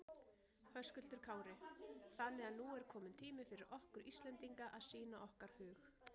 Höskuldur Kári: Þannig að nú er kominn tími fyrir okkur Íslendinga að sýna okkar hug?